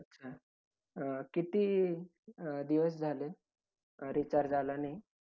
अं किती अं दिवस झाले अं recharge झाला नाही?